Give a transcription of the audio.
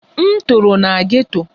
M toro na geto